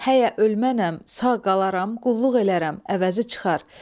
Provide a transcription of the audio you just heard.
Həyə ölmənəm, sağ qalaram, qulluq elərəm, əvəzi çıxar.